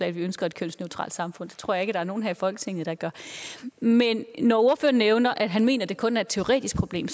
at vi ønsker et kønsneutralt samfund det tror jeg der er nogen her i folketinget der gør men når ordføreren nævner at han mener det kun er et teoretisk problem